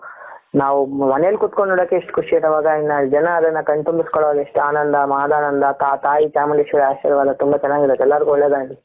ನಾವು ಮನೆಯಲ್ಲಿ ಕೂತುಕೊಂಡು ನೋಡೋಕ್ಕೆ ಇಷ್ಟು ಖುಷಿ ಇರುವಾಗ ಇನ್ನು ಜನ ಅದನ್ನ ಕಣ್ತುಂಬಿಸಿಕೊಳ್ಳೋದು ಎಷ್ಟು ಆನಂದ ಮಹಾದಾನಂದ ಅ ತಾಯಿ ಚಾಮುಂಡೇಶ್ವರಿ ಆಶೀರ್ವಾದ ತುಂಬ ಚೆನ್ನಾಗಿರುತ್ತೆ ಎಲ್ಲರಿಗೂ ಒಳ್ಳೆಯದಾಗಲಿ.